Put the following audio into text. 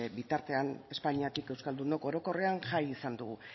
bitartean espainiatik euskaldunok orokorrean jai izan dugu